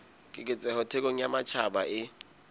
keketseho thekong ya matjhaba e